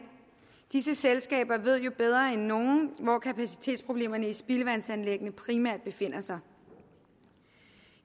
disse selskaber ved jo bedre end nogen hvor kapacitetsproblemerne i spildevandsanlæggene primært befinder sig